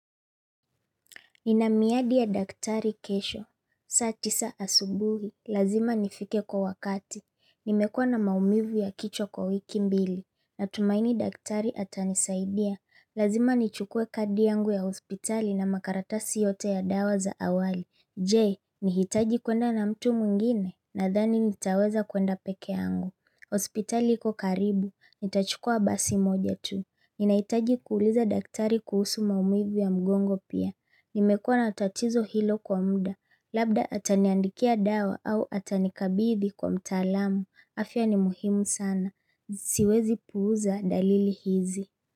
Nina miadi ya daktari kesho. Saa tisa asubuhi. Lazima nifike kwa wakati. Nimekua na maumivu ya kichwa kwa wiki mbili. Na tumaini daktari ata nisaidia. Lazima nichukue kadi yangu ya hospitali na makaratasi yote ya dawa za awali. Je, nihitaji kwenda na mtu mwngine, na dhani nitaweza kwenda peke yangu. Hospitali iko karibu, nitachukua basi moja tu. Ninahitaji kuuliza daktari kuhusu maumivu ya mgongo pia. Nimekuwa natatizo hilo kwa mda, labda ataniandikia dawa au atanikabidhi kwa mtalamu. Afya ni muhimu sana. Siwezi puuza dalili hizi.